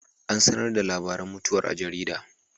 An sanar da labarin mutuwar a jarida.